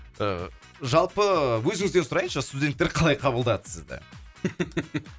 ыыы жалпы өзіңізден сұрайыншы студенттер қалай қабылдады сізді